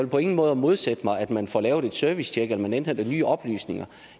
på ingen måde modsætte mig at man får lavet et servicetjek eller at man indhenter nye oplysninger